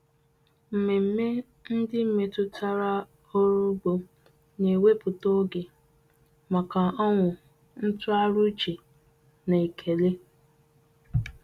Mmemme ndị metụtara ọrụ ugbo na-ewepụta oge maka ọṅụ, ntụgharị uche, na ekele.